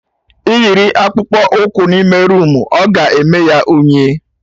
Ị yiri Akpụkpọ ụkwụ n'ime roomu, oga eme ya unyi